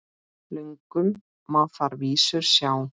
Löngum má þar vísur sjá.